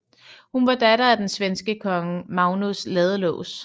Hun var datter af den svenske kong Magnus Ladelås